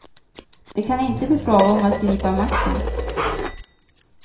Det kan inte bli fråga om att gripa makten.